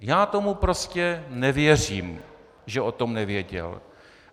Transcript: Já tomu prostě nevěřím, že o tom nevěděl.